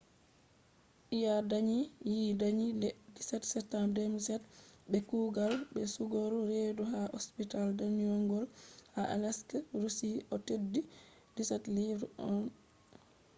ɓe danyi nadia yende september 17 2007 be kugal sekugo reedu ha asibiti danyungol ha aleisk russia o’ teddi 17 pounds 1 ounce